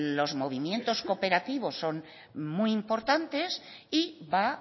los movimientos cooperativos son muy importantes y va